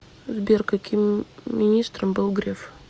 сбер каким министром был греф